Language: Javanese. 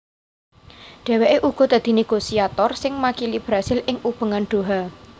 Dhèwèké uga dadi négosiator sing makili Brasil ing Ubengan Doha